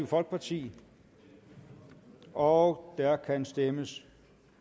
folkeparti og der kan stemmes